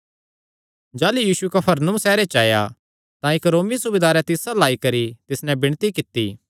जाह़लू यीशु कफरनहूम सैहरे च आया तां इक्क रोमी सूबेदारें तिस अल्ल आई करी तिस नैं विणती कित्ती